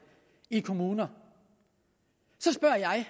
i kommuner så spørger jeg